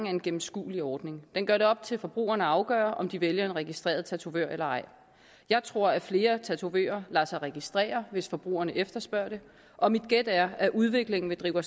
en gennemskuelig ordning den gør det op til forbrugerne at afgøre om de vælger en registreret tatovør eller ej jeg tror at flere tatovører lader sig registrere hvis forbrugerne efterspørger det og mit gæt er at udviklingen vil drive os